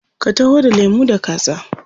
Ka taho da lemu da kaza.